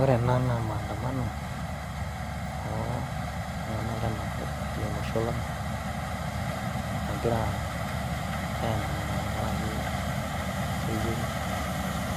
ore ena naa maandamano oltunganak lena kop ashu lelo osho lang tnagira aendamana tengaraki keyiieu